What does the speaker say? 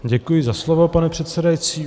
Děkuji za slovo, pane předsedající.